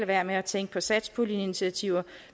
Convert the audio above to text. være med at tænke på satspuljeinitiativer